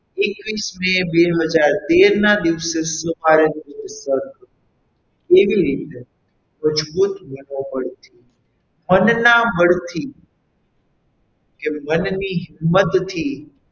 એકવીસ મે બે હજાર તેર ના દિવસે કેવી રીતે મજબૂત મનોબળથી મનના મનથી કે મનની હિંમતથી,